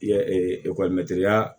Ya ya